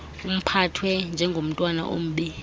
uphathwe njengomntwana ombi